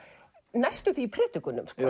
næstum því í predikunum